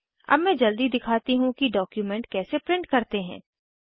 अब मैं जल्दी दिखाती हूँ कि डॉक्युमेंट कैसे प्रिंट करते हैं